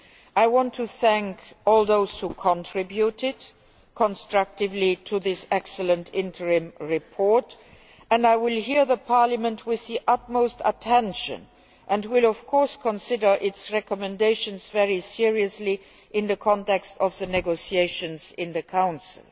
I want to thank all those who contributed constructively to this excellent interim report, and I will listen to Parliament with the utmost attention and will, of course, consider its recommendations very seriously in the context of the negotiations in the Council.